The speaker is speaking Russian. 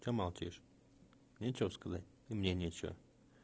что молчишь нечего сказать и мне нечего